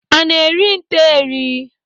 Ana eri nte eri?